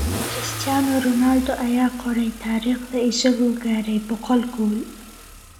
Cristiano Ronaldo ayaa qoray taariikhda isagoo gaaray boqol gool